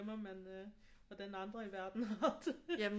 Man øh hvordan andre i verden har det